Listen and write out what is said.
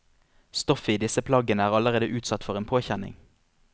Stoffet i disse plaggene er allerede utsatt for en påkjenning.